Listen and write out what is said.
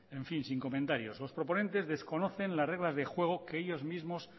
en fin sin comentario los proponentes desconocen las reglas de juego que ellos mismos